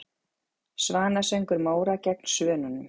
Svanasöngur Móra gegn Svönunum?